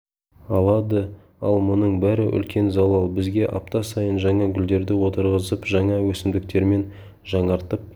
алады ал мұның бәрі үлкен залал бізге апта сайын жаңа гүлдерді отырғызып жаңа өсімдіктермен жаңартып